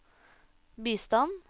bistand